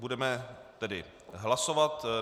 Budeme tedy hlasovat.